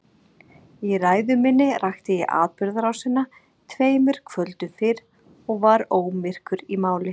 Í ræðu minni rakti ég atburðarásina tveimur kvöldum fyrr og var ómyrkur í máli.